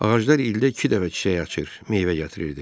Ağaclar ildə iki dəfə çiçək açır, meyvə gətirirdi.